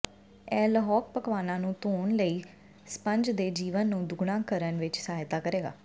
ਇਹ ਲਹੌਕ ਪਕਵਾਨਾਂ ਨੂੰ ਧੋਣ ਲਈ ਸਪੰਜ ਦੇ ਜੀਵਨ ਨੂੰ ਦੁੱਗਣਾ ਕਰਨ ਵਿੱਚ ਸਹਾਇਤਾ ਕਰੇਗਾ